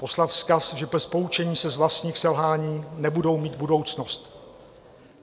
Poslat vzkaz, že bez poučení se z vlastních selhání nebudou mít budoucnost.